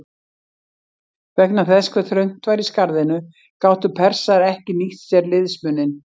Vegna þess hve þröngt var í skarðinu gátu Persar ekki nýtt sér liðsmuninn.